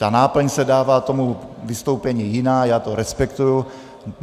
Ta náplň se dává tomu vystoupení jiná, já to respektuji.